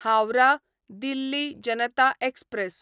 Howrah Delhi Janata express